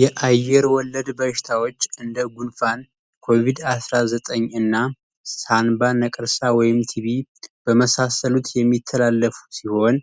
የአየር ወለድ በሽታዎች እንደ ጉንፋን ኮቪድ 19 እና ሳምባ ነቀርሳ ወይም ቲቪ የመሳሰሉት የሚተላለፉ ሲሆን